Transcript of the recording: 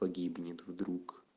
погибнет вдруг